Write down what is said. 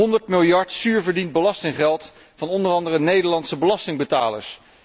100 miljard zuur verdiend belastinggeld van onder andere Nederlandse belastingbetalers.